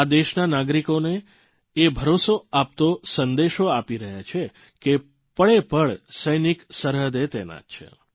અને દેશના નાગરિકોને એ ભરસો આપતો સંદેશો આપી રહ્યા છે કે પળેપળ સૈનિક સરહદે તૈનાત છે